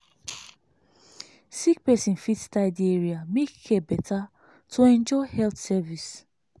sick person fit tidy area make care better to enjoy health service.